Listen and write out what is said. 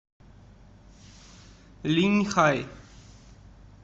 линьхай